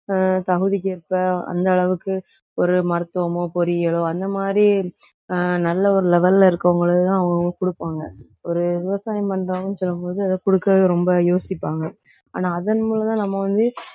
ஆஹ் தகுதிக்கேற்ப அந்த அளவுக்கு ஒரு மருத்துவமோ, பொறியியலோ அந்த மாதிரி ஆஹ் நல்ல ஒரு level ல இருக்கவங்களுக்குதான் அவங்கவங்க கொடுப்பாங்க ஒரு விவசாயம் பண்றவங்கன்னு சொல்லும்போது அதை கொடுக்கவே ரொம்ப யோசிப்பாங்க. ஆனா அதன் மூலம் தான் நம்ம வந்து